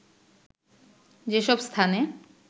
যেসব স্থানে